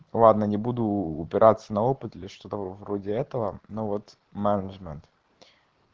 ладно не буду упираться на опыт или что-то вроде этого но вот менеджмент